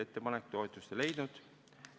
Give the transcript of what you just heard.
Ettepanek toetust ei leidnud.